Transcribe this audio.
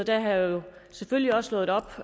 jeg jo selvfølgelig også slået op